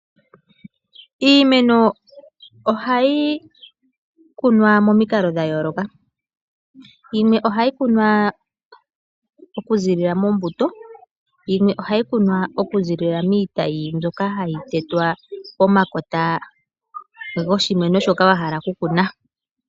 Iimeno ohayi kunwa momikalo dhayooloka yimwe ohayi kunwa okuziilila mombuto, yimwe ohayi kunwa okuziilila miitayi mbyoka hayi tetwa komakota goshimeno shoka wahala okukuna.